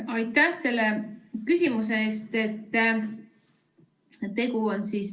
Aitäh selle küsimuse eest!